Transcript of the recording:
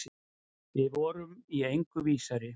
Við vorum í engu vísari.